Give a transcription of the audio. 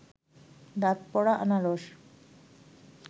দাঁত পড়া আনারস